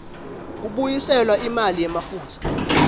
kubuyiselwa imali yemafutsa